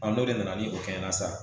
n'o de nana ni o kɛɲɛ na sisan